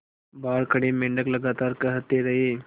बाहर खड़े मेंढक लगातार कहते रहे